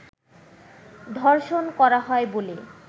ধর্ষণ করা হয় বলে